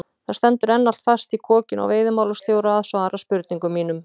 Það stendur enn allt fast í kokinu á veiðimálastjóra að svara spurningum mínum.